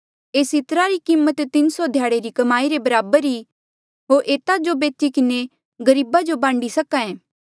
एस इत्रा री कीमत तीन सौ ध्याड़े री कमाई रे बराबर ई होर एता जो बेची किन्हें गरीबा जो बांडी सक्हा ऐें